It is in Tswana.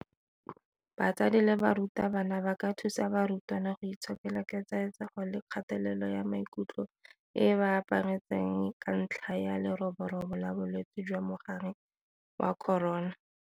BATSADI LE BARUTABANA ba ka thusa barutwana go itshokela ketsaetsego le kgatelelo ya maikutlo e e ba aparetseng ka ntlha ya leroborobo la bolwetse jwa mogare wa corona.